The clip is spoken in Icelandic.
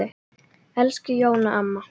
Elsku Jóna amma.